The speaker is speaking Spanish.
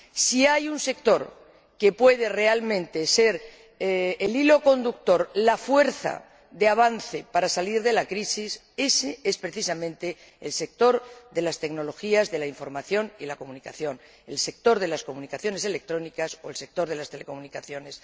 Si hay un sector que puede realmente ser el hilo conductor, la fuerza de avance para salir de la crisis, ése es precisamente el sector de las tecnologías de la información y de la comunicación, el sector de las comunicaciones electrónicas o el sector de las telecomunicaciones.